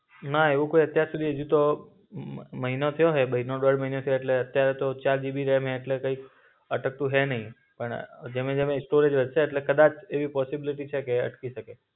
ના એવું કોઈ અત્યાર સુધી અજી તો મ મહિનો થયો હો, મહિને દોડ મહિનો એટલે અત્યારે તો ચાર જીબી રોમ એટલે કૈક અટકતું હૈ નઈ. પણ જેમ સ્ટોર વધશે એટલે કદાચ એવું પોસીબ્લિટી છે કે અટકી શકે.